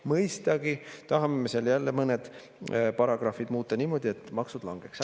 Mõistagi tahame seal jälle mõned paragrahvid muuta niimoodi, et maksud langeksid.